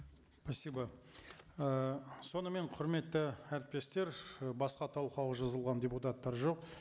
спасибо ы сонымен құрметті әріптестер і басқа талқылауға жазылған депутаттар жоқ